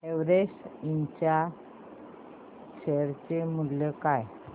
Everest Ind च्या share चे मूल्य काय आहे